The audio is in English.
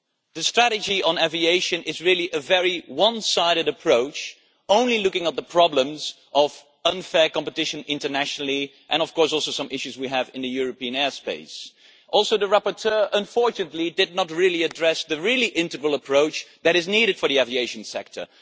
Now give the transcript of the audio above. The strategy on aviation is really a very one sided approach, looking only at the problems of unfair competition internationally and, of course, some issues we have in the European airspace. The rapporteur, unfortunately, did not take the integral approach that is needed for the aviation sector.